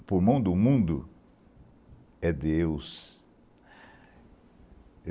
O pulmão do mundo é Deus.